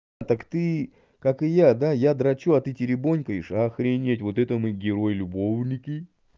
так ты как и я да я драчу а ты теребонькаешь охренеть вот это мы герои любовники